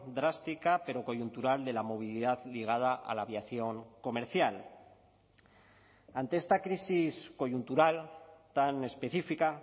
drástica pero coyuntural de la movilidad ligada a la aviación comercial ante esta crisis coyuntural tan específica